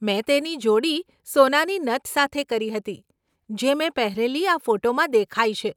મેં તેની જોડી સોનાની નથ સાથે કરી હતી, જે મેં પહેરેલી આ ફોટામાં દેખાય છે.